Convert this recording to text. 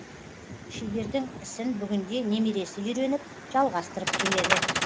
шебердің ісін бүгінде немересі үйреніп жалғастырып келеді